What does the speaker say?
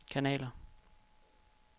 kanaler